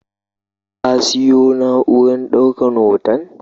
Ka siyo na'urar ɗaukan hoton?